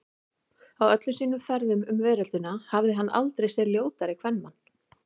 Á öllum sínum ferðum um veröldina hafði hann aldrei séð ljótari kvenmann.